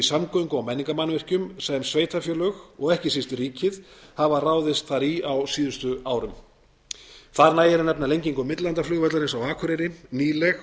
samgöngu og menningarmannvirkjum sem sveitarfélög og ekki síst ríkið hafa ráðist í þar á síðustu árum þar nægir að nefna lengingu millilandaflugvallarins á akureyri nýleg